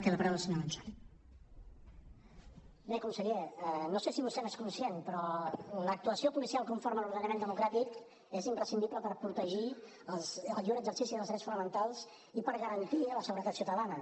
bé conseller no sé si vostè n’és conscient però l’actuació policial conforme a l’ordenament democràtic és imprescindible per protegir el lliure exercici dels drets fonamentals i per garantir la seguretat ciutadana